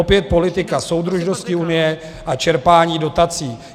Opět politika soudržnosti Unie a čerpání dotací.